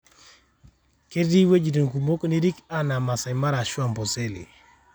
keeti wuejitin kumok nirik anaa maasai mara ashu Amboseli